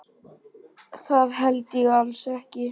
Það held ég alls ekki.